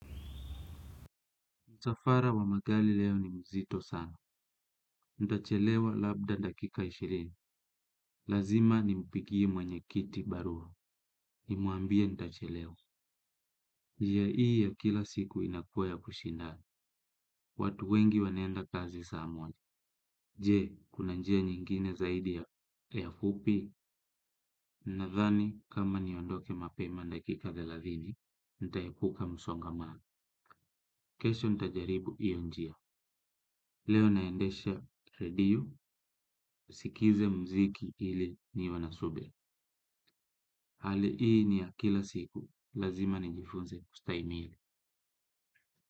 Msafara wa magari leo ni mzito sana. Ntachelewa labda dakika ishirini. Lazima ni mpigie mwenye kiti barua. Nimuambie ntachelewa. Njia hii ya kila siku inakua ya kushindana. Watu wengi waneenda kazi saa moja. Je, kuna njia nyingine zaidi ya. Fupi? Nsthani, kama niondoke mapema dakika thelathini. Nitaepuka musongamana. Kesho ntajaribu hiyo njia. Leo naendesha radio. Nisikize muziki ili niwe na subira. Hali hii ni ya kila siku. Lazima nijifunze kustaimili.